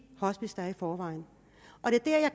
hospicer der er i forvejen